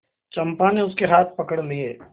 चंपा ने उसके हाथ पकड़ लिए